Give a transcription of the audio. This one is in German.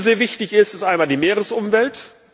Was mir sehr wichtig ist, ist einmal die Meeresumwelt.